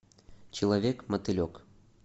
человек мотылек